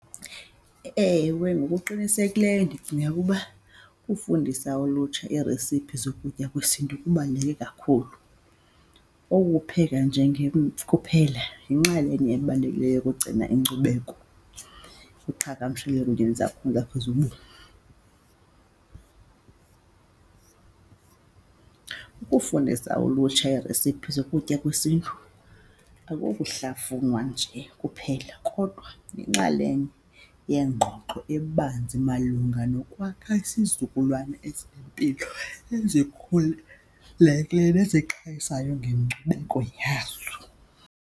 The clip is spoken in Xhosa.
Ewe, ngokuqinisekileyo ndicinga ukuba ukufundisa ulutsha iiresiphi zokutya kwesiNtu kubaluleke kakhulu. Oku kupheka kuphela yinxalenye ebalulekileyo yokugcina inkcubeko iqhagamshelene . Ukufundisa ulutsha iiresiphi zokutya kwesiNtu akukokuhlafunwa nje kuphela, kodwa yinxalenye yeengxoxo ebanzi malunga nokwakha isizukulwana esinempilo ezikhululekileyo nezixhobisayo ngenkcubeko yazo.